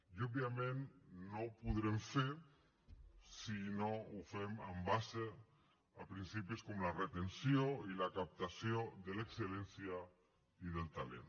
i òbviament no ho podrem fer si no ho fem en base a principis com la retenció i la captació de l’excel·lència i del talent